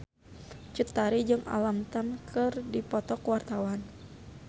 Cut Tari jeung Alam Tam keur dipoto ku wartawan